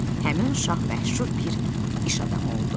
həmin uşaq məşhur bir iş adamı oldu.